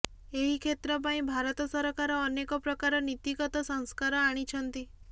ଏହି କ୍ଷେତ୍ର ପାଇଁ ଭାରତ ସରକାର ଅନେକ ପ୍ରକାର ନୀତିଗତ ସଂସ୍କାର ଆଣିଛନ୍ତି